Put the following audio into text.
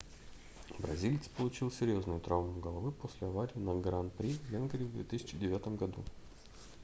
бразилец получил серьёзную травму головы после аварии на гран-при в венгрии в 2009 году